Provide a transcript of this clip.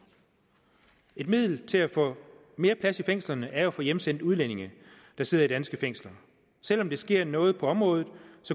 et middel til at få mere plads i fængslerne er jo at få hjemsendt udlændinge der sidder i danske fængsler selv om der sker noget på området